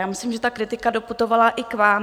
Já myslím, že ta kritika doputovala i k vám.